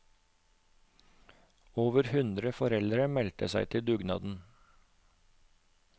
Over hundre foreldre meldte seg til dugnaden.